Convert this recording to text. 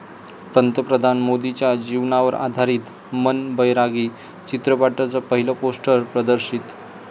पंतप्रधान मोदींच्या जीवनावर आधारित 'मन बैरागी' चित्रपटाचं पहिलं पोस्टर प्रदर्शित